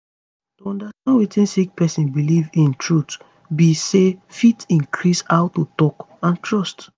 to understand wetin sick pesin belief in truth be say fit increase how to talk and trust